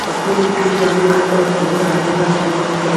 kakurutu vano vanokaba bhora nevano rumba.